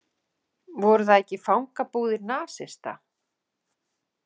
Voru það ekki fangabúðir nasista?